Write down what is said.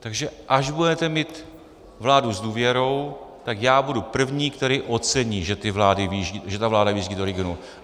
Takže až budete mít vládu s důvěrou, tak já budu první, který ocení, že ta vláda vyjíždí do regionů.